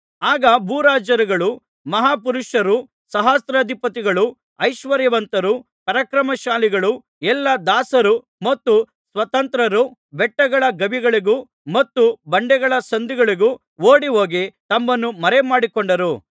ಆಗ ಭೂರಾಜರುಗಳೂ ಮಹಾಪುರುಷರೂ ಸಹಸ್ರಾಧಿಪತಿಗಳೂ ಐಶ್ವರ್ಯವಂತರೂ ಪರಾಕ್ರಮಶಾಲಿಗಳೂ ಎಲ್ಲಾ ದಾಸರೂ ಮತ್ತು ಸ್ವತಂತ್ರರೂ ಬೆಟ್ಟಗಳ ಗವಿಗಳಿಗೂ ಮತ್ತು ಬಂಡೆಗಳ ಸಂದುಗಳಿಗೂ ಓಡಿಹೋಗಿ ತಮ್ಮನ್ನು ಮರೆಮಾಡಿಕೊಂಡರು